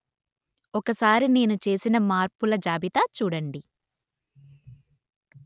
ఒకసారి నేను చేసిన మార్పుల జాబితా చూడండి